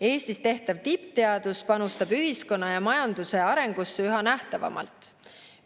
Eestis tehtav tippteadus panustab ühiskonna ja majanduse arengusse üha nähtavamalt.